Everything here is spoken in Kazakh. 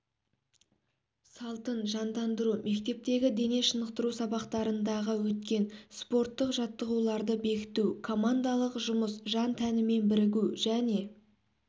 салтын жандандыру мектептегі дене шынықтыру сабақтарындағы өткен спорттық жаттығуларды бекіту командалық жұмыс жан-тәнімен бірігу және